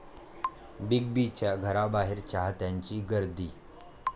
big बींच्या घराबाहेर चाहत्यांची गर्दी